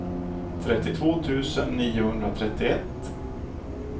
trettiotvå tusen niohundratrettioett